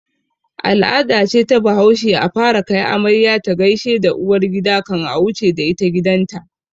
Al'ada ce ta bahaushe a fara kai amarya ta gaishe da uwargida kan a wuce da ita gidan ta